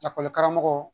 Lakɔlikaramɔgɔ